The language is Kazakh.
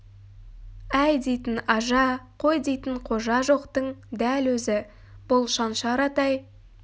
әй дейтін ажа қой дейтін қожа жоқтың дәл өзі бұл шаншар атай